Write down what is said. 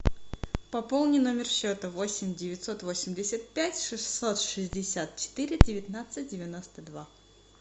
пополни номер счета восемь девятьсот восемьдесят пять шестьсот шестьдесят четыре девятнадцать девяносто два